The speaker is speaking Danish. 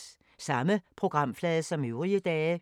Samme programflade som øvrige dage